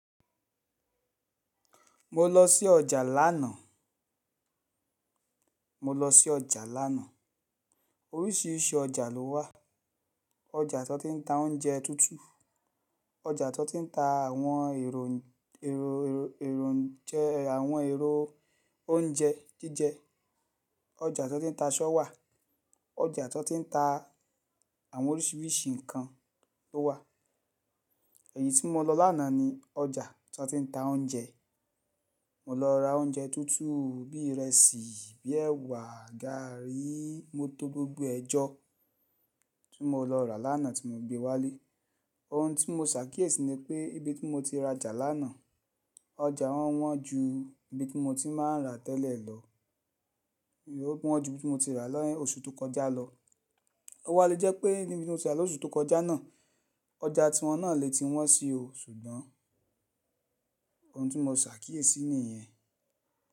Mo lọ sí ọjà lánàá, mo lọ sí ọjà lánàá. Oríṣiríṣi ọjà ló wà. Ọjà tó ti ń ta oúnjẹ tútù, ọjà tó ti ń ta àwọn èrò, èrò, èrò, àwọn èrò oúnjẹ jíjẹ, ọjà tó ti ń ta aṣọ wà, ọjà tó ti ń ta àwọn oríṣiríṣi nǹkan ló wà. Èyí tí mo lọ lánàá ni ọjà tó ti ń ta oúnjẹ. Mo lọ ra oúnjẹ tútù bí i ìrẹsì, bí i ẹwà, gàárì, mọ́ tò gbogbo ẹ jọ́ tí mo lọ rà lánàá tí mo gbé wálé. Ohun tí mo ṣàkíyèsí ni pé ibi tí mo ti rajà lánàá, ọjà wọn wọ́n ju ibi tí mo ti máa ń ra tẹ́lẹ̀ lọ, wọ́n ju ibi tí mo ti rà ni oṣù tó kọjá lọ. Ó wá le jẹ́ pé níbi tí mo ti rà lóṣù tó kọjá náà, ọjà tí wọ́n náà le ti wọ́n si oò, ṣùgbọ́n ohun tí mo ṣàkíyèsí nìyẹn.